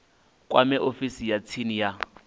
kwame ofisi ya tsini ya